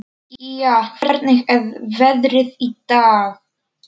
Día, hvernig er veðrið í dag?